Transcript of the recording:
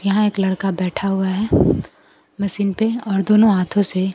यहां एक लड़का बैठा हुआ है मशीन पे और दोनों हाथों से--